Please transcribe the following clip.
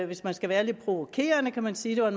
hvis man skal være lidt provokerende kan man sige at